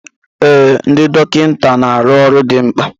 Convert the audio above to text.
Ee, ndị dọkịta na arụ ọrụ dị mkpa